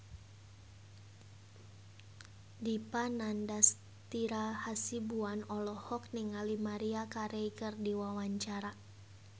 Dipa Nandastyra Hasibuan olohok ningali Maria Carey keur diwawancara